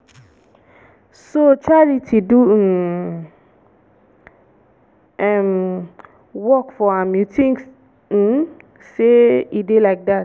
so charity do im um work for am you think um say e dey like dat